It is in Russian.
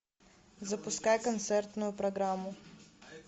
запускай концертную программу